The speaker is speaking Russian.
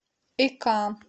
ика